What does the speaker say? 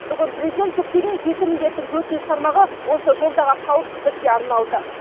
бүгін президент жүктеген жеті міндеттің төртінші тармағы осы жолдағы қауіпсіздікке арналды